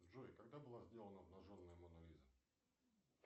джой когда была сделана обнаженная мона лиза